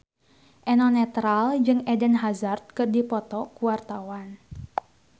Eno Netral jeung Eden Hazard keur dipoto ku wartawan